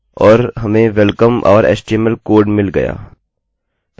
माफ़ कीजिये तो हम php header पर जाएँगे और हमें welcome! our html code मिल गया